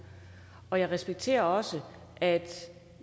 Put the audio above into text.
og jeg respekterer også at